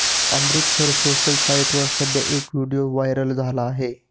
Amritsar social साईटवर सध्या एक व्हिडीओ व्हायरल झाला आहे